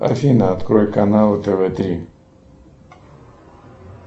афина открой канал тв три